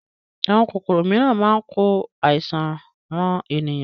Àwọn kòkòrò mìíràn máa ń ko àìsàn ran ènìyàn